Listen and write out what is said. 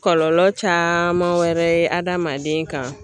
Kɔlɔlɔ caman wɛrɛ ye adamaden kan.